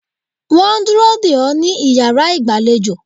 Wọ́n ń dúró dè ó ní iyàrá ìgbàlejò